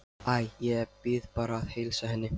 Æ, ég bið bara að heilsa henni